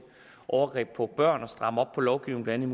overgreb på børn og stramme op på lovgivningen